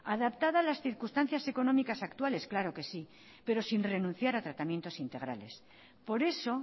adaptada a las circunstancias económicas actuales claro que sí pero sin renunciar a tratamientos integrales por eso